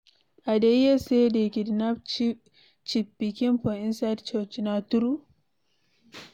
I hear say dey kidnap Chief pikin for inside church, na true?